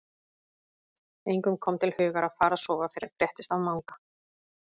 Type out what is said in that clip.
Engum kom til hugar að fara að sofa fyrr en fréttist af Manga.